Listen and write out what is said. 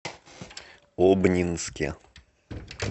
обнинске